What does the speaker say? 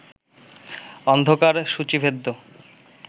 অন্ধকার সূচীভেদ্য